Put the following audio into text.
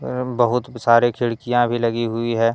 एवं बहुत सारे खिड़कियां भी लगी हुई है।